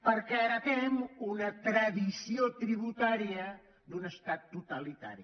perquè heretem una tradició tributària d’un estat totalitari